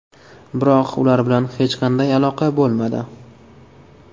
Biroq ular bilan hech qanday aloqa bo‘lmadi.